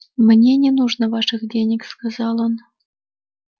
мне не нужно ваших денег сказал он